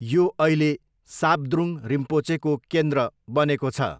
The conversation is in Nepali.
यो अहिले साब्द्रुङ रिम्पोचेको केन्द्र बनेको छ।